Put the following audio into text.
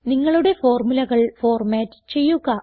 നിങ്ങളുടെ ഫോർമുലകൾ ഫോർമാറ്റ് ചെയ്യുക